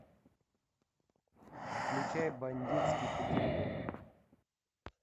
включай бандитский петербург